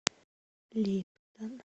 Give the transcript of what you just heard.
липтон